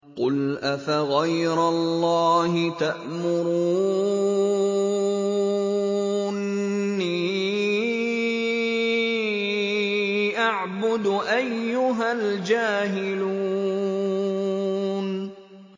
قُلْ أَفَغَيْرَ اللَّهِ تَأْمُرُونِّي أَعْبُدُ أَيُّهَا الْجَاهِلُونَ